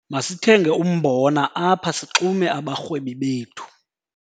Masithenge umbona apha sixume abarhwebi bethu.